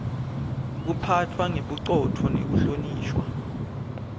lekuphatfwa ngebucotfo nekuhlonishwa